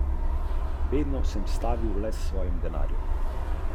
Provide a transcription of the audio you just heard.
In to je res dvorezen meč.